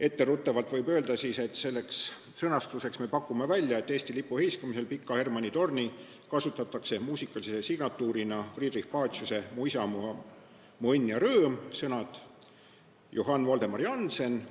Etteruttavalt võib öelda, et sõnastuseks me pakume välja, et Eesti lipu heiskamisel Pika Hermanni torni kasutatakse muusikalise signatuurina Friedrich Paciuse "Mu isamaa, mu õnn ja rõõm"